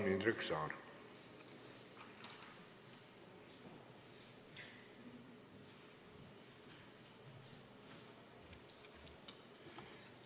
Palun, Indrek Saar!